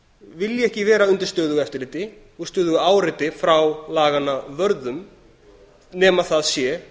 vilji ekki vera undir stöðugu eftirliti og stöðugu áreiti frá laganna vörðum nema það sé